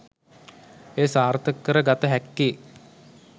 එය සාර්ථක කර ගත හැක්කේ